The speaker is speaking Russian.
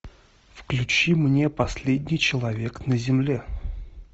включи мне последний человек на земле